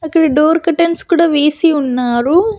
అక్కడ door curtains కూడా వేసి ఉన్నారు.